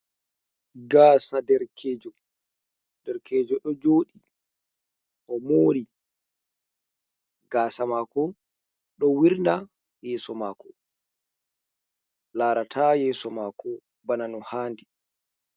Gaasa derkejo, derkejo ɗo joɗi o mori gaasa mako ɗo wirna yeso mako. Larata yeeso mako bana no haandi.